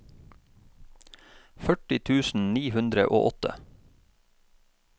førti tusen ni hundre og åtte